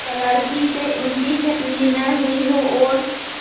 क्लर्की से उनकी छँटनी न हुई हो और